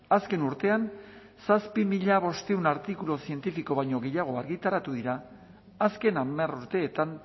azken urtean zazpi mila bostehun artikulu zientifiko baino gehiago argitaratu dira azken hamar urteetan